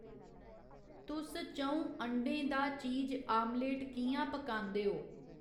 तुस च'ऊं अंडें दा चीज आमलेट कि'यां पकांदे ओ